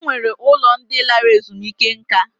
E nwere ụlọ ndị lara ezumike nká.